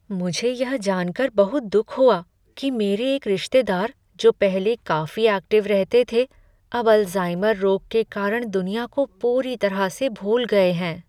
मुझे यह जानकर बहुत दुख हुआ कि मेरे एक रिश्तेदार, जो पहले काफी ऐक्टिव रहते थे, अब अल्जाइमर रोग के कारण दुनिया को पूरी तरह से भूल गए हैं।